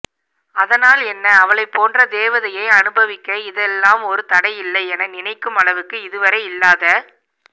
அதனால் என்ன அவளை போன்ற தேவதையை அனுபவிக்க இதெல்லாம் ஒரு தடை இல்லை என நினைக்கும் அளவுக்கு இதுவரை இல்லாத